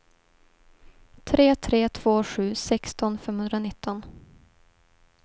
tre tre två sju sexton femhundranitton